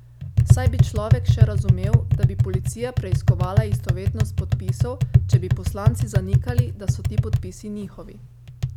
Saj bi človek še razumel, da bi policija preiskovala istovetnost podpisov, če bi poslanci zanikali, da so ti podpisi njihovi.